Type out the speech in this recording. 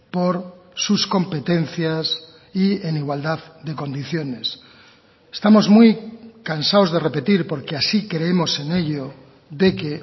por sus competencias y en igualdad de condiciones estamos muy cansados de repetir porque así creemos en ello de que